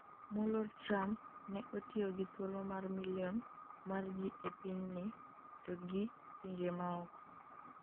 moluor Trump ne otiyo gi thuolo mar milion mar ji e pinyni to gi pinje maoko